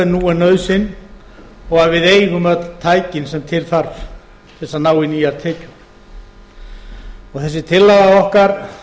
en nú er nauðsyn og við eigum öll tækin sem til þarf til þess að ná í nýjar tekjur þessi tillaga okkar